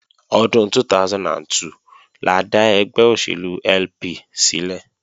Ọdún 2002 la dá ẹgbẹ́ òṣèlú LP sílẹ̀